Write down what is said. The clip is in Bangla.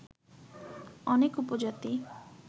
অনেক উপজাতি